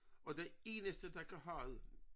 Og den eneste der kan have det